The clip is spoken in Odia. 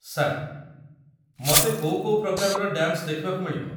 ସାର୍, ମୋତେ କୋଉ କୋଉ ପ୍ରକାରର ଡ୍ୟାନ୍ସ ଦେଖିବାକୁ ମିଳିବ?